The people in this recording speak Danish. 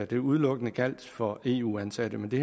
det udelukkende gjaldt for eu ansatte men det